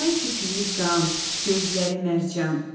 Ay pipiyi qan, gözləri mərcan.